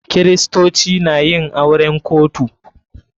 Kiristoci na yin auren kotu.